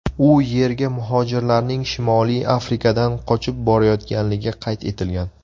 U yerga muhojirlarning Shimoliy Afrikadan qochib borayotganligi qayd etilgan.